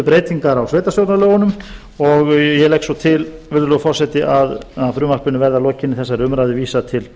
breytingar á sveitarstjórnarlögunum og ég legg svo til virðulegur forseti að frumvarpinu verði að lokinni þessari umræðu vísað til